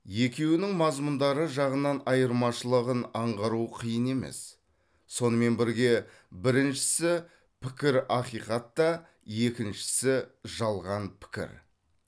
екеуінің мазмұндары жағынан айырмашылығын аңғару қиын емес сонымен бірге біріншісі пікір ақиқат та екіншісі жалған пікір